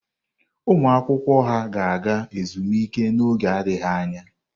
ụmụ akwụkwọ ha ga-aga ezumike n'oge adịghị anya?